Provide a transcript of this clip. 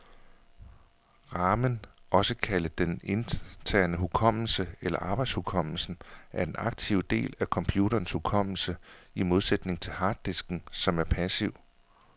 Ramen, også kaldet den interne hukommelse eller arbejdshukommelsen, er den aktive del af computerens hukommelse, i modsætning til harddisken, som er passiv.